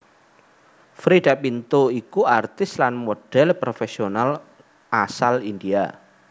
Freida Pinto iku aktris lan modhèl profèsional asal India